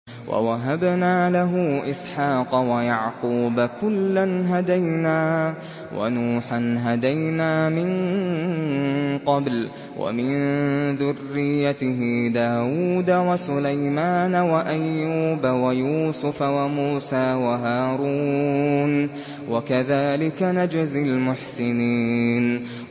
وَوَهَبْنَا لَهُ إِسْحَاقَ وَيَعْقُوبَ ۚ كُلًّا هَدَيْنَا ۚ وَنُوحًا هَدَيْنَا مِن قَبْلُ ۖ وَمِن ذُرِّيَّتِهِ دَاوُودَ وَسُلَيْمَانَ وَأَيُّوبَ وَيُوسُفَ وَمُوسَىٰ وَهَارُونَ ۚ وَكَذَٰلِكَ نَجْزِي الْمُحْسِنِينَ